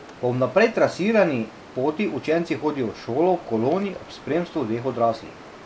Po vnaprej trasirani poti učenci hodijo v šolo v koloni ob spremstvu dveh odraslih.